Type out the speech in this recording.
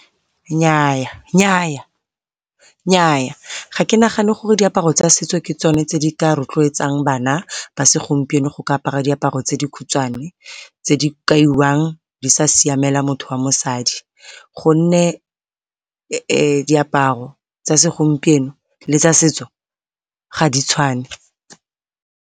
Nnyaa, nnyaa! Nnyaa ga ke nagane gore diaparo tsa setso ke tsone tse di ka rotloetsang gore bana ba segompieno go ka apara diaparo tse di khutshwane tse di kaiwang di sa siamela motho wa mosadi, gonne diaparo tsa segompieno le tsa setso ga di tshwane.